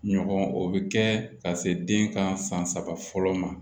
Ɲɔgɔn o bɛ kɛ ka se den ka san saba fɔlɔ ma